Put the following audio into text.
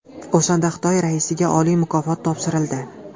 O‘shanda Xitoy raisiga oliy mukofot topshirildi.